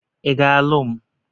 Ị ga alụ m?